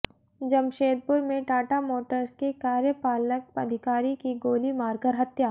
जमशेदपुर में टाटा मोटर्स के कार्यपालक अधिकारी की गोली मारकर हत्या